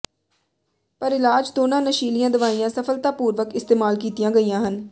ਪਰ ਇਲਾਜ ਦੋਨਾਂ ਨਸ਼ੀਲੀਆਂ ਦਵਾਈਆਂ ਸਫਲਤਾਪੂਰਵਕ ਇਸਤੇਮਾਲ ਕੀਤੀਆਂ ਗਈਆਂ ਹਨ